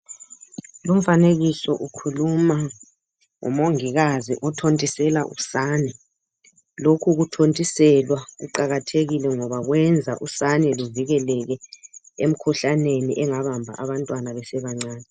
Lomfanekiso ukhuluma ngomongikazi othontisela usane. Lokhu kuthontiselwa kuqakathekile ngoba kwenza usane luvikeleke emkhuhlaneni engabamba abantwana besebancane.